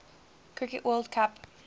cricket world cup